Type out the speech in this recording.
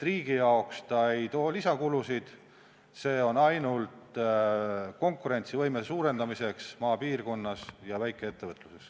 Riigile ei too see lisakulusid, see läheb ainult konkurentsivõime suurendamiseks maapiirkonnas ja väikeettevõtluses.